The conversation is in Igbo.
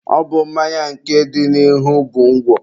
Ọ bụ mmanya nke dị n'ihu bụ ngwọ.